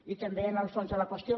i també en el fons de la qüestió